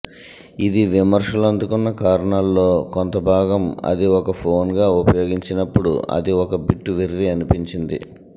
ఇది విమర్శలు అందుకున్న కారణాల్లో కొంత భాగం అది ఒక ఫోన్గా ఉపయోగించినప్పుడు అది ఒక బిట్ వెర్రి అనిపించింది